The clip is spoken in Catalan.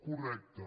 correcte